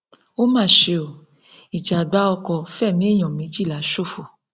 ó mà ṣe o ìjàgbá ọkọ fẹmí èèyàn méjìlá ṣòfò